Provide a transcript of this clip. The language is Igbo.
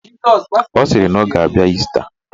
Ọ sịrị na ọ ga-abịa Ịsta.